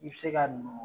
I bɛ se ka nugu